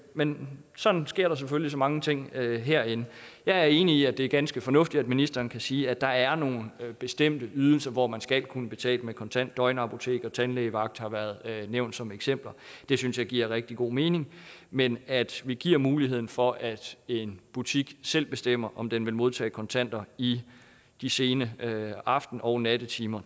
men sådan sker der selvfølgelig så mange ting herinde jeg er enig i at det er ganske fornuftigt at ministeren kan sige at der er nogle bestemte ydelser hvor man skal kunne betale kontant døgnapoteker tandlægevagt har været nævnt som eksempler det synes jeg giver rigtig god mening men at vi giver muligheden for at en butik selv bestemmer om den vil modtage kontanter i de sene aften og nattetimer